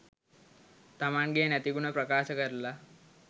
තමන්ගෙ නැති ගුණ ප්‍රකාශ කරලා